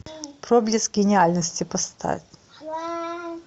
проблеск гениальности поставь